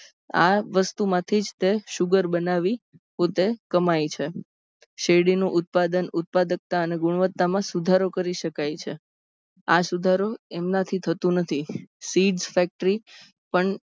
આ વસ્તુમાંથી જ તે sugar બનાવી જ પોતે કમાય છે. શેરડીનું ઉત્પાદન ઉત્પાદકતા અને ગુણવત્તામાં સુધારો કરી સકાય છે. આ સુધારો એમનાથી થતો નથી. sids factory પણ